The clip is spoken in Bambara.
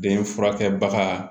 Den furakɛ baga